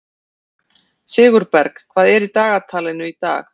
Sigurberg, hvað er í dagatalinu í dag?